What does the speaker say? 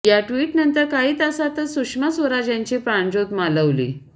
या ट्विटनंतर काही तासांतच सुषमा स्वराज यांची प्राणज्योत मालवली